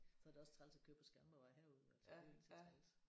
Så er det også træls at køre på Skanderborgvej herude altså det er jo lige så træls